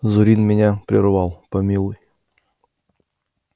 зурин меня прервал помилуй